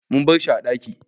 Mun barshi a ɗaki